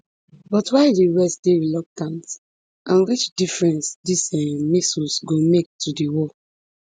but why di west dey reluctant and which difference these um missiles go make to di war